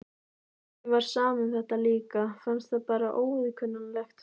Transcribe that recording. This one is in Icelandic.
Henni var sama um þetta líka, fannst það bara óviðkunnanlegt.